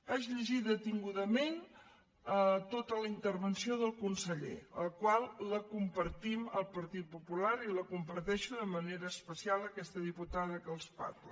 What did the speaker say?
vaig llegir detingudament tota la intervenció del conseller la qual compartim el partit popular i la comparteix de manera especial aquesta diputada que els parla